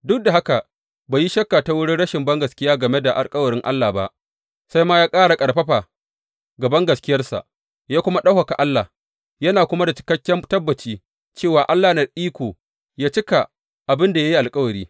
Duk da haka bai yi shakka ta wurin rashin bangaskiya game da alkawarin Allah ba, sai ma ya ƙara ƙarfafa ga bangaskiyarsa, ya kuma ɗaukaka Allah, yana kuma da cikakken tabbaci cewa Allah yana da iko yă cika abin da ya yi alkawari.